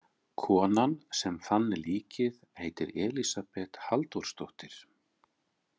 Konan sem fann líkið heitir Elísabet Halldórsdóttir.